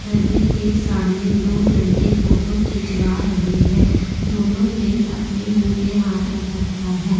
नदी के सामने दो लड़के फोटो खिंचवा रहे हैं दोनों ने अपने मुंह पर हाथ रख रखा है।